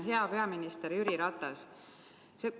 Hea peaminister Jüri Ratas!